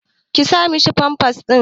Sa mishi pampas ɗin.